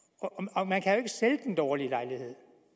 man kan jo sælge den dårlige lejlighed